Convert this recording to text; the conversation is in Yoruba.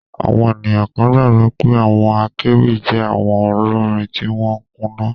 Àwọn ènìyàn kan gbàgbọ́ pé àwọn akéwì jẹ́ awon olórin tí wọ́n kùnà